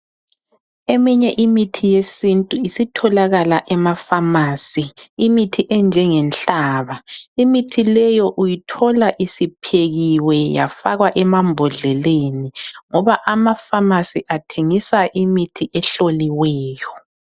Eminye imithi yesintu isitholakala emafamasi. Imithi enjengenhlaba, imithi leyo uyithola isiphekiwe yafakwa emambodleleni ngoba amafamasi athengisa imithi ehloliweyo.